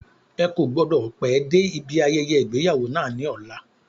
Ó kò gbọ́dọ̀ pẹ́ dé ibi ayẹyẹ ìgbéyàwó náà ní ọ̀la.